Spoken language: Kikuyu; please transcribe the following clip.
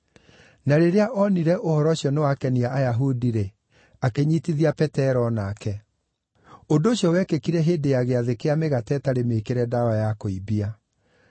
Na rĩrĩa oonire ũhoro ũcio nĩwakenia Ayahudi-rĩ, akĩnyiitithia Petero o nake. Ũndũ ũcio wekĩkire hĩndĩ ya Gĩathĩ kĩa Mĩgate Ĩtarĩ Mĩĩkĩre Ndawa ya Kũimbia.